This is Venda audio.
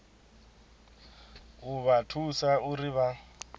u vha thusa uri vha